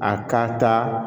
A ka taa